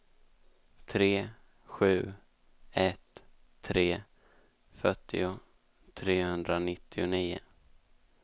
tre sju ett tre fyrtio trehundranittionio